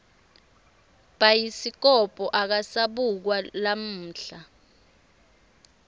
bhayiskobho akasabukwa lamuhla